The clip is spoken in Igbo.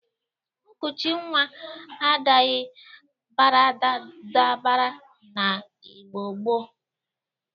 Nkuchi nwa adaghi baradabara n'Igbo gboo.